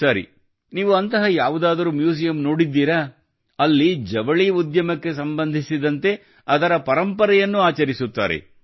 ಸರಿ ನೀವು ಅಂತಹ ಯಾವುದಾದರೂ ಮ್ಯೂಸಿಯಂ ನೋಡಿದ್ದೀರಾ ಅಲ್ಲಿ ಜವಳಿ ಉದ್ಯಮಕ್ಕೆ ಸಂಬಂಧಿಸಿದಂತೆ ಅದರ ಪರಂಪರೆಯನ್ನು ಆಚರಿಸುತ್ತಾರೆ